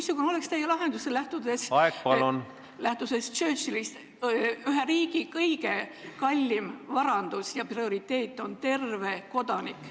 Missugune oleks teie lahendus, lähtudes Churchilli sõnadest, et ühe riigi kõige kallim varandus ja prioriteet on terve kodanik.